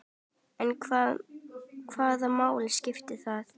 En hvaða máli skiptir það?